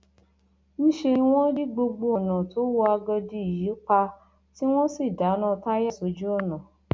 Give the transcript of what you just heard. níṣẹ ni wọn di gbogbo ọnà tó wọ àgọdì yìí pa tí wọn sì dáná táyà sójú ọnà